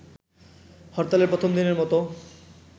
হরতালের প্রথম দিনের মতো